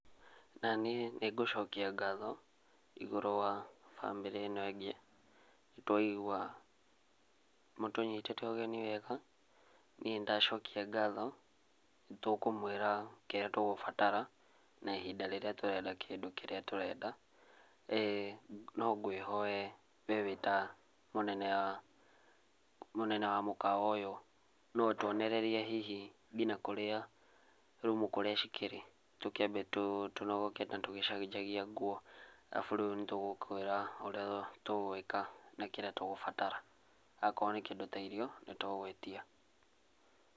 Naniĩ nĩngũcokia ngatho igũrũ wa bamĩrĩ ĩno ĩngĩ, nĩtwaigua mũtũnyitĩte ũgeni wega, niĩ nĩndacokia ngatho. Nĩtũkũmwĩra kĩrĩa tũgũbatara, na ihinda rĩrĩa tũrenda kĩndũ kĩrĩa tũrenda. No ngwĩhoe we wĩ ta mũnene wa, mũnene wa mũkawa ũyũ, no ũtuonererie hihi kinya kũrĩa, rumu kũrĩa cikĩrĩ. Tũkiambe tũnogoke na tũgĩcenjagia nguo. Arabu rĩu nĩtũgũkwĩra ũrĩa tũgwĩka na kĩrĩa tũgũbatara. Akorwo nĩ kĩndũ ta irio nĩtũgũgwĩtia.